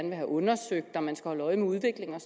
vil have undersøgt og at man skal holde øje med udviklingen og